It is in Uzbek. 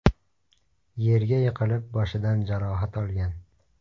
yerga yiqilib, boshidan jarohat olgan.